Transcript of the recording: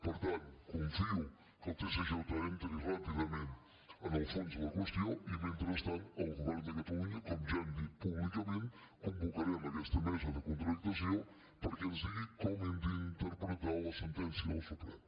per tant confio que el tsj entri ràpidament en el fons de la qüestió i mentrestant el govern de catalunya com ja hem dit públicament convocarem aquesta me·sa de contractació perquè ens digui com hem d’inter·pretar la sentència del suprem